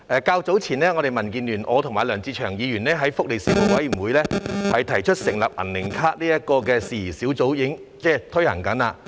較早時候，我和民建聯黨友梁志祥議員建議，在福利事務委員會轄下成立"銀齡卡"相關事宜小組委員會。